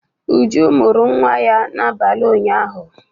Uju mụrụ nwa ya n'abalị ụnyahụ